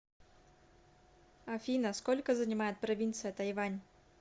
афина сколько занимает провинция тайвань